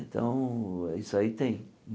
Então, isso aí tem.